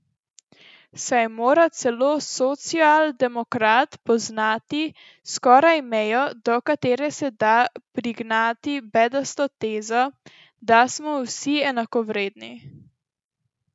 Saj mora celo socialdemokrat poznati skrajno mejo, do katere se da prignati bedasto tezo, da smo vsi enakovredni?